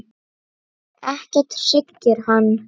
Ekkert hryggir hann.